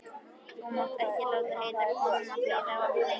Þú mátt ekki láta heitkonuna bíða of lengi.